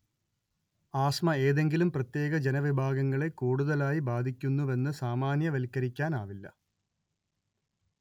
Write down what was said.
asthma ഏതെങ്കിലും പ്രത്യേക ജനവിഭാഗങ്ങളെ കൂടുതലായി ബാധിക്കുന്നുവെന്ന് സാമാന്യവൽക്കരിക്കാനാവില്ല